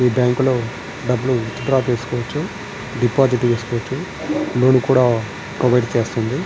ఈ బ్యాంకు లో డబ్బులు విత్డ్రా చేసుకోచ్చు డిపాజిట్ చేసుకోచ్చు లోన్ కూడా ప్రొవైడ్ చేస్తుంది.